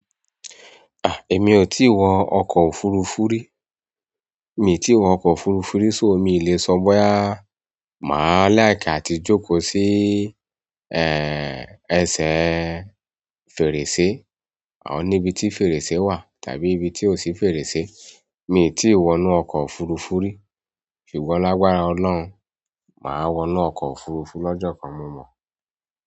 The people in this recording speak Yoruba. À, èmi ò tíì wọ ọkọ̀ òfurufú rí. Èmi tí wọ ọkọ̀ òfurufú rí so mi ì lè sọ bóyá màá like àti jókòó sí, eeh, ẹsẹ̀ fèrèsé ọ̀nà ibi tí fèrèsé wà tàbí ibi tí o ṣí fèrèsé. Èmi tí wọ inú ọkọ̀ òfurufú rí, ṣùgbọ́n lágbára ọlọ́run, màá wọ inú ọkọ̀ òfurufú lọ́jọ́ kan mo mọ̀.